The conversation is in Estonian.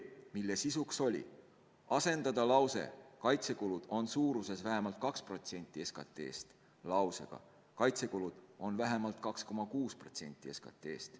Selle sisu oli: asendada lause "Kaitsekulud on suuruses vähemalt 2% SKT-st." lausega "Kaitsekulud on vähemalt 2,6% SKT-st.